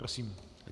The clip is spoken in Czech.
Prosím.